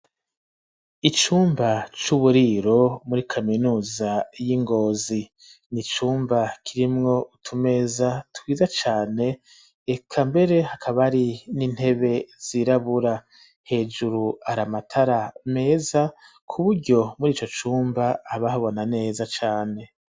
Icumba c'uburiro muri kaminuza y'ingozi n'icumba kirimwo utumeza twiza cane reka mbere hakaba hari n'intebe zirabura hejuru haramatara meza kuburyo murico cumba haba habona neza cane.